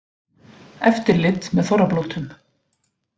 Eftirlit með þorrablótum